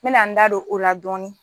N bɛna n da don o la dɔɔni.